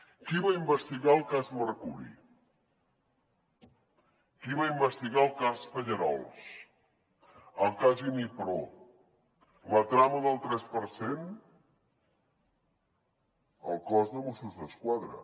qui va investigar el cas mercuri qui va investigar el cas pallerols el cas inipro la trama del tres per cent el cos de mossos d’esquadra